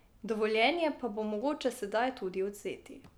Dovoljenje pa bo mogoče sedaj tudi odvzeti.